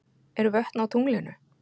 Eru vötn á tunglinu?